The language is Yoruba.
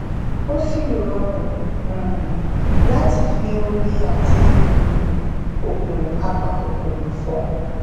tó sì rọrùn um láti fi omi àti um oògùn apakòkòrò fọ